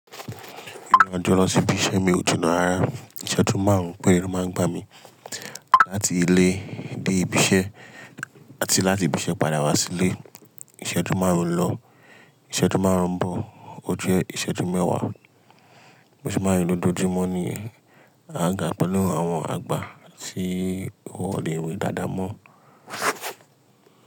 Ki máa ń to lọ sí ibi iṣẹ́ mi kò jina rára. Ìṣẹ́jú márùn-ún péré máa ń gbá mi láti ilé dé ibi iṣẹ́ àti láti ibi iṣẹ́ padà wá sílé. Ìṣẹ́jú márùn-ún lọ, ìṣẹ́jú márùn-ún bọ̀, ó jẹ́ ìṣẹ́jú mẹ́wàá. Bo sì máa ń rí lojúmọ́ ni agaga pẹ̀lú àwọn àgbà tí wọ́n le we dáadáa mọ́.